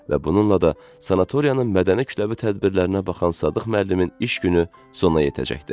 Və bununla da sanatoriyanın mədəni kütləvi tədbirlərinə baxan Sadıq müəllimin iş günü sona yetəcəkdi.